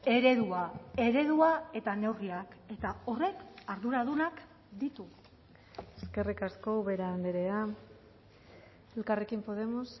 eredua eredua eta neurriak eta horrek arduradunak ditu eskerrik asko ubera andrea elkarrekin podemos